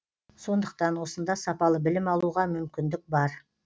сондықтан осында сапалы білім алуға мүмкіндік бар